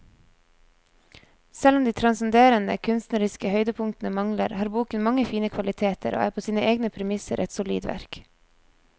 Selv om de transcenderende kunstneriske høydepunktene mangler, har boken mange fine kvaliteter og er på sine egne premisser et solid verk.